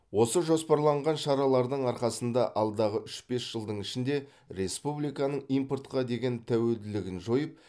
осы жоспарланған шаралардың арқасында алдағы үш бес жылдың ішінде республиканың импортқа деген тәуелділігін жойып